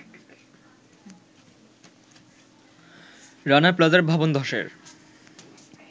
রানা প্লাজা ভবন ধ্বসের